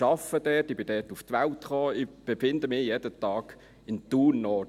Ich arbeite dort, ich bin dort zur Welt gekommen, ich befinde mich jeden Tag in Thun Nord.